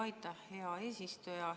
Aitäh, hea eesistuja!